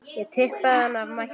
Ég tippaði hana af mætti.